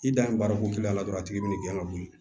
I dan ye baarako kelen na dɔrɔn a tigi bi n'i gɛn ka wuli